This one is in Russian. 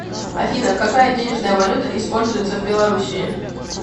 афина какая денежная валюта используется в белоруссии